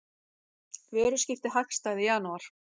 Vöruskipti hagstæð í janúar